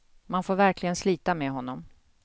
Man får verkligen slita med honom.